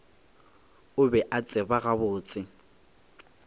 o be a tseba gabotse